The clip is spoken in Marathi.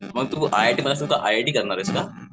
मग तू I I T I I T करणार आहेस का?